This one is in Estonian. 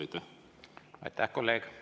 Aitäh, kolleeg!